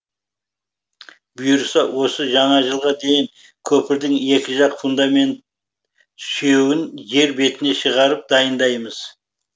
бұйырса осы жаңа жылға дейін көпірдің екі жақ фундамент сүйеуін жер бетіне шығарып дайындаймыз